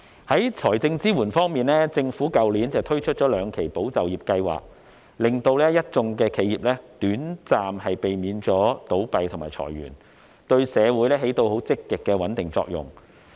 在財政支援方面，政府去年推出了兩期"保就業"計劃，令一眾企業短暫避免倒閉和裁員，對社會起到積極的穩定作用。